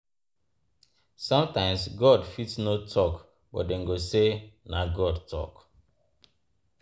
Sometimes God fit no talk but dem go say na God talk.